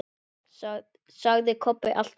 sagði Kobbi allt í einu.